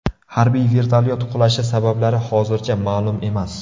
Harbiy vertolyot qulashi sabablari hozircha ma’lum emas.